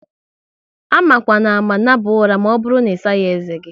Amakwanama naba ụra maọbụru na isaghi ezé gi!